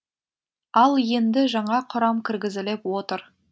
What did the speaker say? ал енді жаңа құрам кіргізіліп отыр